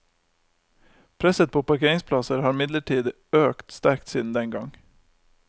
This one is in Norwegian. Presset på parkeringsplasser har imidlertid økt sterkt siden den gang.